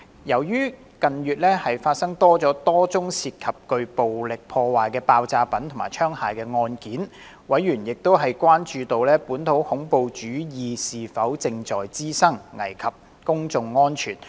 由於近月發生多宗涉及具破壞力的爆炸品及槍械案件，委員亦關注到本土恐怖主義是否正在滋生，危及公眾安全。